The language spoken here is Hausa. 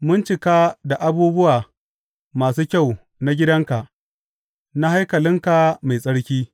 Mun cika da abubuwa masu kyau na gidanka, na haikalinka mai tsarki.